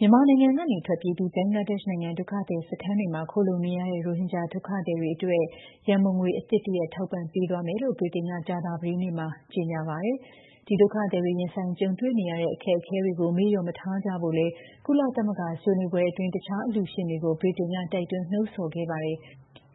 မြန်မာနိုင်ငံကနေ ထွက်ပြေးပြီး ဘင်္ဂလားဒေ့ရှ်နိုင်ငံ ဒုက္ခသည်စခန်းတွေမှာ ခိုလှုံနေရတဲ့ ရိုဟင်ဂျာ ဒုက္ခသည်တွေအတွက် ရန်ပုံငွေ အသစ်တရပ် ထောက်ပံ့ပေးသွားမယ်လို့ ဗြိတိန်က ကြာသပတေးနေ့မှာ ကြေညာပါတယ်။ ဒီဒုက္ခသည်တွေ ရင်ဆိုင်ကြုံတွေ့နေရတဲ့ အခက်အခဲတွေကို မေ့လျော့မထားကြဖို့လည်း ကုလသမဂ္ဂ ဆွေးနွေးပွဲအတွင်း တခြားအလှုရှင်တွေကို ဗြိတိန်က တိုက်တွန်းနှိုးဆော်ခဲ့ပါတယ်။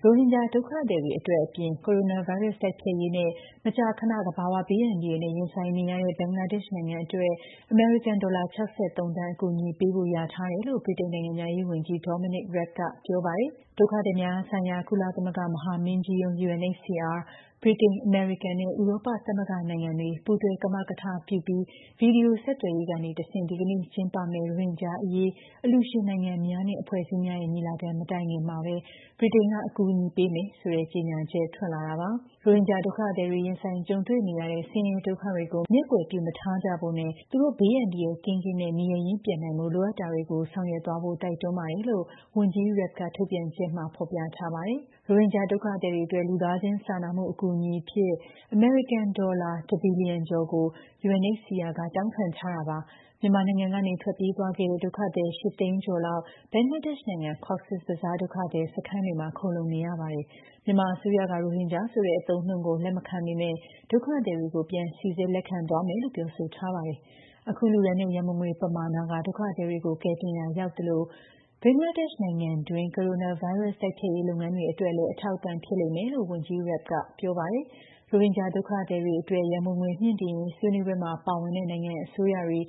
ရိုဟင်ဂျာ ဒုက္ခသည်တွေအတွက်အပြင် ကိုရိုနာဗိုင်းရပ်စ် တိုက်ဖျက်ရေးနဲ့ မကြာခဏ သဘာဝဘေးအန္တရာယ်နဲ့ ရင်ဆိုင်နေရတဲ့ ဘင်္ဂလားဒေ့ရှ်နိုင်ငံအတွက် အမေရိကန် ဒေါ်လာ ၆၃ သန်း အကူအညီပေးဖို့ လျာထားတယ်လို့ ဗြိတိန်နိုင်ငံခြားရေးဝန်ကြီး Dominic Raab ကပြောပါတယ်။ ဒုက္ခသည်များဆိုင်ရာ ကုလသမဂ္ဂ မဟာမင်းကြီးရုံး (UNHCR)၊ ဗြိတိန်၊ အမေရိကန်နဲ့ ဥရောပသမဂ္ဂနိုင်ငံတွေ ပူးတွဲ ကမကထပြုပြီး ဗွီဒီယိုဆက်သွယ်ရေးကနေတဆင့် ဒီကနေ့ကျင်းပမယ့် ရိုဟင်ဂျာအရေး အလှူရှင် နိုင်ငံများနဲ့အဖွဲ့အစည်းများရဲ့ ညီလာခံ မတိုင်ခင်မှာဘဲ ဗြိတိန်က အကူအညီပေးမယ်ဆိုတဲ့ ကြေညာချက် ထွက်လာတာပါ။ ရိုဟင်ဂျာ ဒုက္ခသည်တွေ ရင်ဆိုင်ကြုံတွေ့နေရတဲ့ ဆင်းရဲဒုက္ခတွေကို မျက်ကွယ်ပြုမထားကြဖို့ နဲ့ သူတို့ ဘေးအန္တရာယ်ကင်းကင်းရှင်းရှင်းနဲ့ နေရပ်ရင်းပြန်နိုင်ဖို့ လိုအပ်တာတွေကို ဆောင်ရွက်သွားဖို့ တိုက်တွန်းပါတယ်လို့ ဝန်ကြီး Raab က ထုတ်ပြန်ချက်တရပ်မှာ ပြောထားပါတယ်။ ရိုဟင်ဂျာ ဒုက္ခသည်တွေအတွက် လူသားချင်းစာနာမှု အကူအညီအဖြစ် အမေရိကန် ဒေါ်လာ ၁ ဘီလီယံကျော်ကို UNHCR က တောင်းခံထားတာပါ။ မြန်မာနိုင်ငံကနေ ထွက်ပြေးသွားခဲ့တဲ့ ဒုက္ခသည် ၈၀၀,၀၀၀ ကျော်လောက် ဘင်္ဂလားဒေ့ရှ်နိုင်ငံ Cox's Bazar ဒုက္ခသည်စခန်းတွေမှာ ခိုလှုံနေရတာပါ။ မြန်မာအစိုးရက ရိုဟင်ဂျာဆိုတဲ့ အသုံးအနှုန်းကို လက်မခံပေမဲ့ ဒုက္ခသည်တွေကို ပြန်စိစစ်လက်ခံသွားမယ်လို့ ပြောဆိုထားပါတယ်။ အခု လှုဒါန်းတဲ့ ရန်ပုံငွေပမာဏ က ဒုက္ခသည်တွေ ကိုကယ်တင်ရာရောက်သလို ဘင်္ဂလားဒေ့ရှ်နိုင်ငံတွင်း ကိုရိုနာဗိုင်းရပ်စ် တိုက်ဖျက်ရေးလုပ်ငန်းတွေအတွက်လည်း အထောက်အပံ့ဖြစ်လိမ့်မယ်လို့ ဝန်ကြီး Raab ကပြောပါတယ်။ ရိုဟင်ဂျာ ဒုက္ခသည်တွေအတွက် ရန်ပုံငွေမြှင့်တင်ရေး ဆွေးနွေးပွဲမှာ ပါဝင်တဲ့ နိုင်ငံအစိုးရတွေ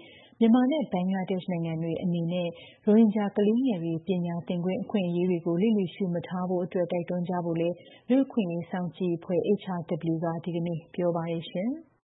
မြန်မာနဲ့ ဘင်္ဂလားဒေ့ရှ်နိုင်ငံတွေအနေနဲ့ ရိုဟင်ဂျာ ကလေးငယ်တွေ ပညာသင်ခွင့် အခွင့်အရေးတွေကို လျစ်လျူရှုမထားဖို့အတွက် တိုက်တွန်းကြဖို့လည်း လူ့အခွင့်အရေးစောင့်ကြည့်အဖွဲ့ HRW က ဒီကနေ့ ပြောပါတယ်။